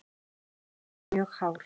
Hann er mjög hár.